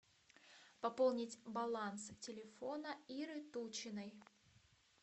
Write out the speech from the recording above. пополнить баланс телефона иры тучиной